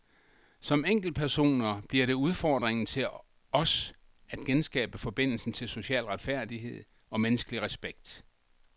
Som enkeltpersoner bliver det udfordringen til os at genskabe forbindelsen til social retfærdighed og menneskelig respekt.